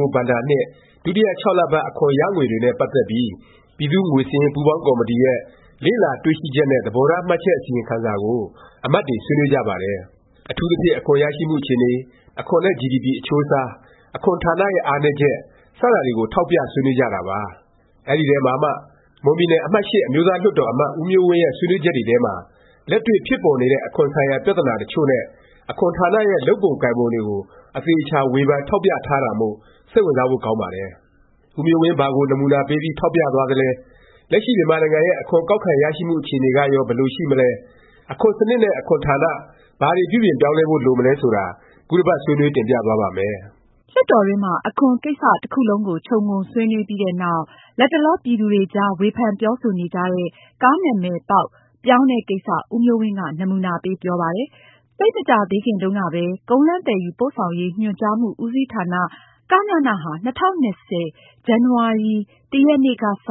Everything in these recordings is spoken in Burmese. ၉ ဘဏ္ဍာနှစ် ဒုတိယ ၆လပတ် အခွန်ရငွေတွေနဲ့ ပတ်သက်ပြီး ပြည်သူ့ငွေစာရင်း ပူးပေါင်းကော်မတီရဲ့ လေ့လာတွေ့ရှိချက်နဲ့ သဘောထား မှတ်ချက် အစီရင်ခံစာကို အမတ်တွေ ဆွေးနွေးကြပါတယ်။ အထူးသဖြင့် အခွန်ရရှိမှု အခြေအနေ၊ အခွန်နဲ့ ဂျီဒီပီ အချိုးအစား၊ အခွန်ဌာနရဲ့ အားနည်းချက် စတာတွေကို ထောက်ပြ ဆွေးနွေးကြတာပါ။ အဲဒီထဲမှာမှ မွန်ပြည်နယ် အမှတ်(၈) အမျိုးသားလွှတ်တော် အမတ် ဦးမျိုးဝင်းရဲ့ ဆွေးနွေးချက်တွေထဲမှာ လက်တွေ့ဖြစ်ပေါ်နေတဲ့ အခွန်ဆိုင်ရာ ပြသနာ တစ်ချို့နဲ့ အခွန်ဌာနရဲ့ လုပ်ပုံကိုင်ပုံတွေကို အသေအခြာ ဝေဖန်ထောက်ပြ ထားတာမို့ စိတ်ဝင်စားဖို့ ကောင်းပါတယ်။ ဦးမျိုးဝင်း ဘာကို နမူနာပေးပြီး ထောက်ပြသွားသလဲ၊ လက်ရှိ မြန်မာနိုင်ငံရဲ့ အခွန်ကောက်ခံရရှိမှု အခြေအနေကရော ဘယ်လို ရှိမလဲ၊ အခွန်စနစ်နဲ့ အခွန်ဌာန ဘာတွေ ပြုပြင်ပြောင်းလဲဖို့ လိုမလဲ ဆိုတာ ခုတစ်ပတ် ဆွေးနွေး တင်ပြသွားပါ့မယ်။ လွှတ်တော်တွင်းမှာ အခွန်ကိစ္စ တစ်ခုလုံးကို ခြုံငုံ ဆွေးနွေးပြီးတဲ့နောက် လတ်တလော ပြည်သူတွေအကြား ဝေဖန်ပြောဆိုနေကြတဲ့ ကားနာမည်ပေါက် ပြောင်းတဲ့ ကိစ္စ ဦးမျိုးဝင်းက နမူနာပေး ပြောဆိုပါတယ်။ သိပ်မကြာသေးခင်တုန်းကပဲ ကုန်းလမ်းသယ်ယူပို့ဆောင်ရေး ညွှန်ကြားမှု ဦးစီးဌာန “ကညန” ဟာ ၂၀၂၀ ဇန်နဝါရီ ၁ ရက်နေ့ကစ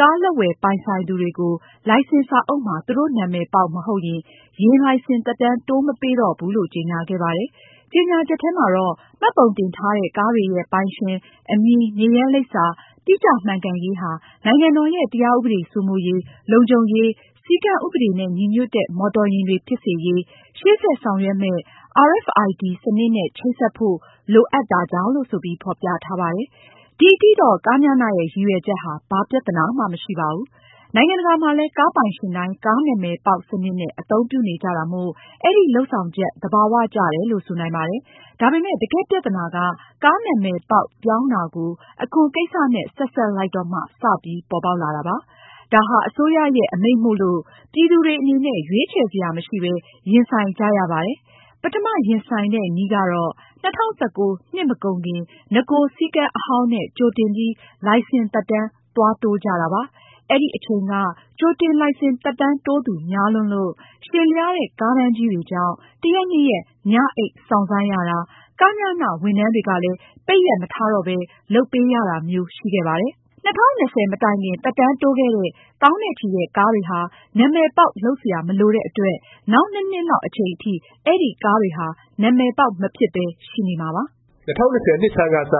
ကားလက်ဝယ်ပိုင်ဆိုင်သူတွေကို လိုင်စင်စာအုပ်မှာ သူတို့ နာမည်ပေါက် မဟုတ်ရင် ယာဉ်လိုင်စင် သက်တမ်း တိုးမပေးတော့ဘူးလို့ ကြေငြာခဲ့ပါတယ်။ ကြေငြာချက်ထဲမှာတော့ မှတ်ပုံတင်ထားတဲ့ ကားတွေရဲ့ ပိုင်ရှင်၊ အမည်၊ နေရပ်လိပ်စာ တိကျမှန်ကန်ရေးဟာ နိုင်ငံတော်ရဲ့ တရားဥပဒေ စိုးမိုးရေး၊ လုံခြုံရေးနဲ့ စည်းကမ်းဥပဒေနဲ့ ညီညွတ်တဲ့ မော်တော်ယာဉ်တွေ ဖြစ်စေရေး၊ ရှေ့ဆက်ဆောင်ရွက်မယ့် Radio Frequency Identification (RFID) စနစ်နဲ့ ချိတ်ဆက်ဖို့ လိုအပ်တာကြောင့်လို့ ဆိုပြီး ဖော်ပြထားပါတယ်။ ဒီအထိတော့ ကညန ရဲ့ ရည်ရွယ်ချက်ဟာ ဘာပြသနာမှ မရှိပါဘူး။ နိုင်ငံတကာမှာလည်း ကားပိုင်ရှင်တိုင်း ကားနာမည်ပေါက် စနစ်နဲ့ အသုံးပြုနေကြတာမို့ အဲဒီ လုပ်ဆောင်ချက် သဘာ၀ ကျတယ်လို့ ဆိုနိုင်ပါတယ်။ ဒါပေမယ့် တကယ့်ပြသနာက ကားနာမည်ပေါက် ပြောင်းတာကို အခွန်ကိစ္စနဲ့ ဆက်စပ်လိုက်တော့မှ စပြီး ပေါ်ပေါက်လာတာပါ။ ဒါဟာ အစိုးရရဲ့ အမိန့်မို့လို့ ပြည်သူတွေ အနေနဲ့ ရွေးချယ်စရာ မရှိပဲ ရင်ဆိုင်ကြရပါတယ်။ ပထမ ရင်ဆိုင်တဲ့နည်းကတော့ ၂၀၁၉ နှစ်မကုန်ခင် နဂို စည်းကမ်းအဟောင်းနဲ့ ကြိုတင်ပြီး လိုင်စင်သက်တမ်း သွားတိုးကြတာပါ။ အဲဒီအချိန်က ကြိုတင် လိုင်စင် သက်တမ်းတိုးသူ များလွန်းလို့၊ ရှည်လျားတဲ့ ကားတန်းကြီးတွေကြောင့် တစ်ရက်နှစ်ရက် ညအိပ်စောင့်ဆိုင်းရတာ၊ ကညန ဝန်ထမ်းတွေကလည်း ပိတ်ရက် မထားတော့ပဲ လုပ်ပေးရတာမျိုး ရှိခဲ့ပါတယ်။ ၂၀၂၀ မတိုင်ခင် သက်တမ်းတိုးခဲ့တဲ့ သောင်းနဲ့ချီတဲ့ ကားတွေဟာ နာမည်ပေါက် လုပ်စရာ မလိုတဲ့အတွက် နောက် ၂ နှစ်လောက်အချိန်အထိ အဲဒီကားတွေဟာ နာမည်ပေါက် မဖြစ်ပဲ ရှိနေမှာပါ။ ၂၀၂၀ နှစ်ဆန်းကစ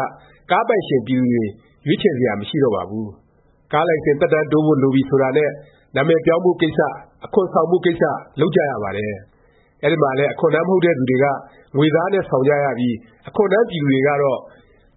ကားပိုင်ရှင် ပြည်သူတွေ ရွေးချယ်စရာ မရှိတော့ပါဘူး။ ကားလိုင်စင် သက်တမ်းတိုးဖို့ လိုပြီ ဆိုတာနဲ့ နာမည်ပြောင်းဖို့ ကိစ္စ၊ အခွန်ဆောင်ဖို့ ကိစ္စ လုပ်ကြရပါတယ်။ အဲဒီမှာလည်း အခွန်ထမ်း မဟုတ်တဲ့သူတွေက ငွေသားနဲ့ ဆောင်ကြရပြီး အခွန်ထမ်း ပြည်သူတွေကတော့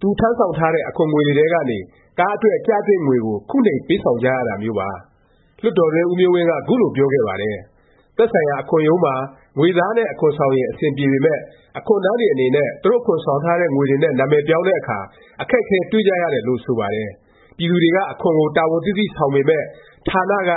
သူထမ်းဆောင်ထားတဲ့ အခွန်ငွေတွေထဲကနေ ကားအတွက် ကျသင့်ငွေကို ခုနှိမ် ပေးဆောင်ကြရတာမျိုးပါ။ လွှတ်တော်တွင်း ဦးမျိုးဝင်းက ခုလို ပြောခဲ့ပါတယ်။ “သက်ဆိုင်ရာ အခွန်ရုံးမှာ ငွေသားနဲ့ အခွန်ဆောင်ရင် အဆင်ပြေပေမယ့် အခွန်ထမ်းတွေ အနေနဲ့ သူတို့ အခွန်ဆောင်ထားတဲ့ငွေတွေနဲ့ နာမည်ပြောင်းတဲ့အခါ အခက်အခဲ တွေ့ကြတယ်လို့ ဆိုပါတယ်။ ပြည်သူတွေက အခွန်ကို တာဝန်သိသိ ဆောင်ပေမယ့် ဌာနက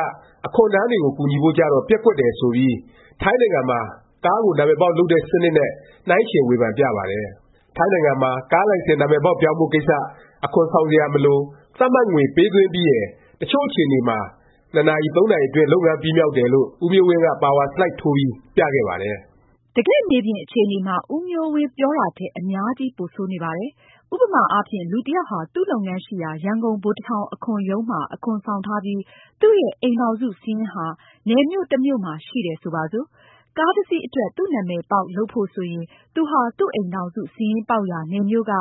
အခွန်ထမ်းတွေကို ကူညီဖို့ကျတော့ ပျက်ကွက်တယ်” ဆိုပြီး ထိုင်းနိုင်ငံမှာ ကားကို နာမည်ပေါက် လုပ်တဲ့ စနစ်နဲ့ နှိုင်းယှဉ် ဝေဖန်ပြပါတယ်။ ထိုင်းနိုင်ငံမှာ ကားလိုင်စင် နာမည်ပေါက် ပြောင်းဖို့ ကိစ္စ၊ အခွန်ဆောင်စရာ မလို၊ သတ်မှတ်ငွေ ပေးသွင်းပြီးရင် တစ်ချို့အခြေအနေမှာ ၂ နာရီ ၃ နာရီ အတွင်း လုပ်ငန်းပြီးမြောက်တယ်လို့ ဦးမျိုးဝင်းက ပါဝါဆလိုက် ထိုးပြီး ပြခဲ့ပါတယ်။ တကယ့်မြေပြင် အခြေအနေမှာ ဦးမျိုးဝင်း ပြောတာထက် အများကြီး ပိုဆိုးနေပါတယ်။ ဥပမာအားဖြင့် လူတစ်ယောက်ဟာ သူ့လုပ်ငန်းရှိရာ ရန်ကုန် ဗိုလ်တထောင် အခွန်ရုံးမှာ အခွန်ဆောင်ထားပြီး၊ သူ့ရဲ့ အိမ်ထောင်စု စာရင်းဟာ နယ်မြို့ တစ်မြို့မှာ ရှိတယ် ဆိုပါစို့။ ကားတစ်စီး အတွက် သူ့နာမည်ပေါက် လုပ်ဖို့ ဆိုရင် သူဟာ သူ့အိမ်ထောင်စု စာရင်းပေါက်ရာ နယ်မြို့က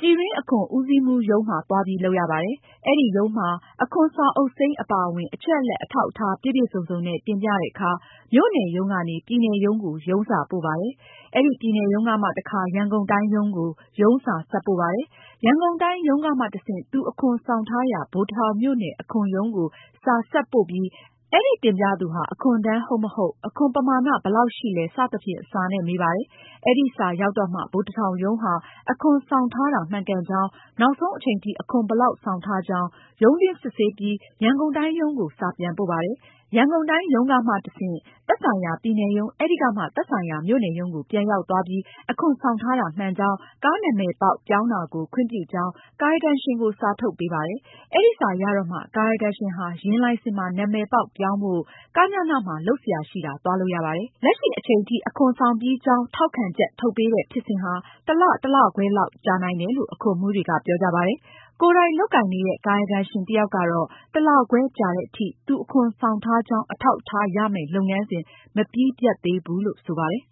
ပြည်တွင်း အခွန်ဦးစီးမှူးရုံးမှာ သွားပြီး လုပ်ရပါတယ်။ အဲဒီရုံးမှာ အခွန်စာအုပ်စိမ်း အပါအဝင် အချက်အလက် အထောက်အထား ပြည့်ပြည့်စုံစုံနဲ့ တင်ပြတဲ့အခါ မြို့နယ် ရုံးကနေ ပြည်နယ်ရုံးကို ရုံးစာ ပို့ပါတယ်။ အဲဒီ ပြည်နယ်ရုံးကမှ တခါ ရန်ကုန်တိုင်း ရုံးကို ရုံးစာ ဆက်ပို့ပါတယ်။ ရန်ကုန်တိုင်း ရုံးကမှ တဆင့် သူ အခွန်ဆောင်ထားရာ ဗိုလ်တထောင်မြို့နယ် အခွန်ရုံးကို စာ ဆက်ပို့ပြီး အဲဒီ တင်ပြသူဟာ အခွန်ထမ်း ဟုတ်မဟုတ်၊ အခွန်ပမာဏ ဘယ်လောက်ရှိလဲ စသဖြင့် စာနဲ့ မေးပါတယ်။ အဲဒီစာ ရောက်တော့မှ ဗိုလ်တထောင်ရုံးဟာ အခွန်ဆောင်ထားတာ မှန်ကန်ကြောင်း၊ နောက်ဆုံး အချိန်ထိ အခွန်ဘယ်လောက် ဆောင်ထားကြောင်း ရုံးတွင်း စစ်ဆေးပြီး ရန်ကုန်တိုင်း ရုံးကို စာပြန်ပို့ပါတယ်။ ရန်ကုန်တိုင်း ရုံးကမှ တဆင့် သက်ဆိုင်ရာ ပြည်နယ်ရုံး၊ အဲဒီကမှ သက်ဆိုင်ရာ မြို့နယ်ရုံးကို ပြန်ရောက်သွားပြီး အခွန်ဆောင်ထားတာ မှန်ကြောင်း၊ ကားနာမည်ပေါက် ပြောင်းတာကို ခွင့်ပြုကြောင်း ကာယကံရှင်ကို စာထုတ်ပေးပါတယ်။ အဲဒီစာ ရတော့မှ ကာယကံရှင်ဟာ ယာဉ်လိုင်စင်မှာ နာမည်ပေါက်ပြောင်းဖို့ “ ကညန” မှာ လုပ်စရာရှိတာ သွားလုပ်ရပါတယ်။ လက်ရှိ အချိန်ထိ အခွန်ဆောင်ပြီးကြောင်း ထောက်ခံချက် ထုတ်ပေးတဲ့ ဖြစ်စဉ်ဟာ တစ်လ တစ်လခွဲလောက် ကြာနိုင်တယ်လို့ အခွန်မှူးတွေက ပြောကြပါတယ်။ ကိုယ်တိုင် လုပ်ကိုင်နေတဲ့ ကာယကံရှင် တစ်ယောက်ကတော့ တစ်လခွဲကြာသည်အထိ သူအခွန်ဆောင်ထားကြောင်း အထောက်အထား ရမယ့် လုပ်ငန်းစဉ် မပြီးပြတ်သေးဘူးလို့ ဆိုပါတယ်။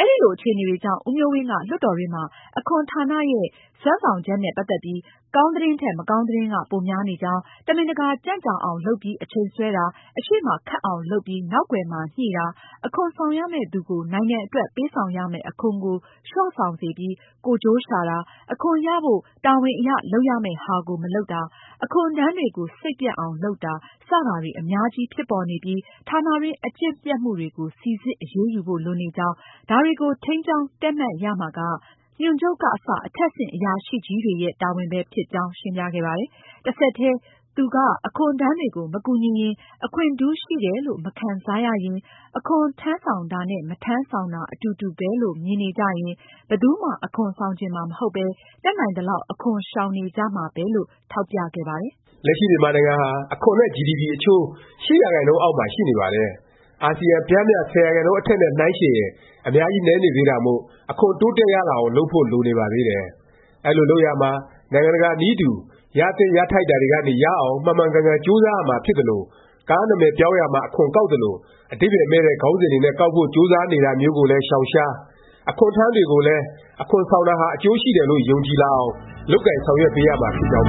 အဲလို အခြေအနေတွေကြောင့် ဦးမျိုးဝင်းက လွှတ်တော်တွင်းမှာ “အခွန်ဌာနရဲ့ စွမ်းဆောင်ချက်နဲ့ ပတ်သက်ပြီး ကောင်းသတင်းထက် မကောင်းသတင်းက ပိုများနေကြောင်း၊ တမင်တကာ ကြံ့ကြာအောင် လုပ်ပြီး အချိန်ဆွဲတာ၊ အရှေ့မှာ ခက်အောင် လုပ်ပြီး နောက်ကွယ်မှာ ညှိတာ၊ အခွန်ဆောင်ရမယ့်သူကို နိုင်ငံအတွက် ပေးဆောင်ရမယ့် အခွန်ကို လျော့ဆောင်စေပြီး ကိုယ်ကျိုးရှာတာ၊ အခွန်ရဖို့ တာဝန်အရ လုပ်ရမယ့်ဟာကို မလုပ်တာ၊ အခွန်ထမ်းတွေကို စိတ်ပျက်အောင် လုပ်တာ စတာတွေ အများကြီး ဖြစ်ပေါ်နေပြီး ဌာနတွင်း အကျင့်ပျက်မှုတွေကို စိစစ် အရေးယူဖို့ လိုနေကြောင်း၊ ဒါတွေကို ထိန်းကျောင်း တည့်မတ်ရမှာက ညွှန်ချုပ်ကစ အထက်ဆင့် အရာရှိကြီးတွေရဲ့ တာဝန်ပဲ ဖြစ်ကြောင်း” ရှင်းပြခဲ့ပါတယ်။ တစ်ဆက်တည်း သူက အခွန်ထမ်းတွေကို မကူညီရင်၊ အခွင့်ထူးရှိတယ်လို့ မခံစားရရင်၊ အခွန်ထမ်းဆောင်တာနဲ့ မထမ်းဆောင်တာ အတူတူပဲလို့ မြင်နေကြရင် ဘယ်သူမှ အခွန်ဆောင်ချင်မှာ မဟုတ်ပဲ တတ်နိုင်သလောက် အခွန်ရှောင်နေကြမှာပဲ လို့ ထောက်ပြခဲ့ပါတယ်။ လက်ရှိ မြန်နိုင်ငံဟာ အခွန်နဲ့ ဂျီဒီပီ အချိုး ၈ ရာခိုင်နှုန်းအောက်မှာ ရှိနေပါတယ်။ အာစီယံ ပျမ်းမျှ ၁၀ ရာခိုင်နှုန်း အထက်နဲ့ နှိုင်းယှဉ်ရင် အများကြီး နည်းနေသေးတာမို့ အခွန် တိုးတက်ရလာအောင် လုပ်ဖို့ လိုနေပါသေးတယ်။ အဲလို လုပ်ရာမှာ နိုင်ငံတကာ နည်းတူ ရသင့်ရထိုက်တာကနေ ရအောင် မှန်မှန်ကန်ကန် ကြိုးစားရမှာဖြစ်သလို၊ ကားနာမည်ပြောင်းရာမှာ အခွန်ကောက်သလို အဓိပ္ပါယ်မဲ့တဲ့ ခေါင်းစဉ်တွေနဲ့ ကောက်ဖို့ ကြိုးစားနေတာမျိုးကိုလည်း ရှောင်ရှား၊ အခွန်ထမ်းတွေကိုလည်း အခွန်ဆောင်တာဟာ အကျိုးရှိတယ်လို့ ယုံကြည်လာအောင် လုပ်ကိုင်ဆောင်ရွက်ပေးရမှာ ဖြစ်ကြောင်း